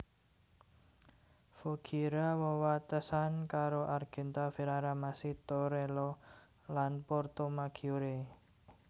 Voghiera wewatesan karo Argenta Ferrara Masi Torello lan Portomaggiore